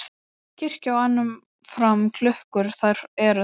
Kirkja á enn um fram klukkur þær er þau